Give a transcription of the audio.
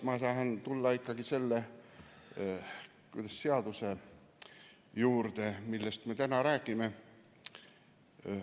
Ma tahan tulla ikkagi selle seaduse juurde, millest me täna räägime.